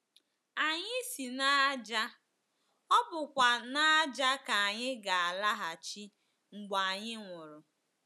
Anyị si n’ájá, ọ bụkwa n’ájá ka anyị ga - alaghachi mgbe anyị nwụrụ.